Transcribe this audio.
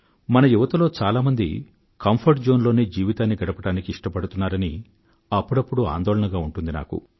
మన యువతలో చాలా మంది కంఫర్ట్ జోన్ లోనే జీవితాన్ని గడపడానికి ఇష్టపడుతున్నారని అప్పుడప్పుడు ఆందోళనగా ఉంటుంది నాకు